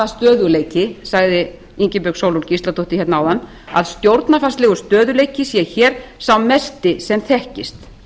stöðugleiki sagði ingibjörg sólrún gísladóttir hérna áðan að stjórnarfarslegur stöðugleiki sé hér sá mesti sem þekkist